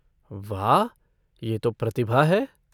वाह, ये तो प्रतिभा है।